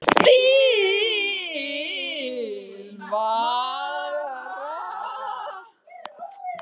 Til vara